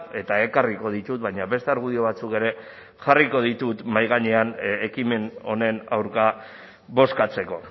eta ekarriko ditut baina beste argudio batzuk ere jarriko ditut mahai gainean ekimen honen aurka bozkatzeko